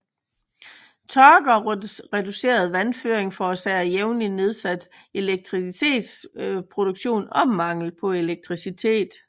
Tørke og reduceret vandføring forårsager jævnlig nedsat elektricitetsproduktion og mangel på elektricitet